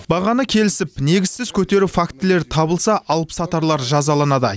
бағаны келісіп негізсіз көтеру фактілері табылса алыпсатарлар жазаланады